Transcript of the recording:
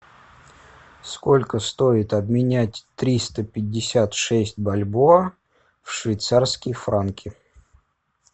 сколько стоит обменять триста пятьдесят шесть бальбоа в швейцарские франки